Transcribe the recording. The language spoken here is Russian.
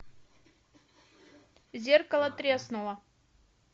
зеркало треснуло